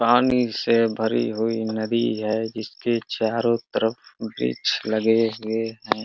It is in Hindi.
पानी से भरी हुई नदी है जिसके चारों तरफ वृक्ष लगे हुए हैं।